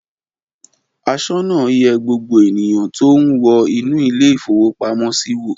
Aṣọ́nà yẹ gbogbo ènìyàn tó ń wọ inú ilé-ìfowópamọ́sí wò.